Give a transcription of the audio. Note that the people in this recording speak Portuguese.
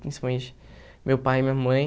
Principalmente meu pai e minha mãe.